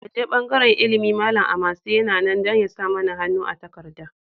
Mu je bangaren Ilimi, Malam Amase yana nan don ya sa mana hannu a takardar.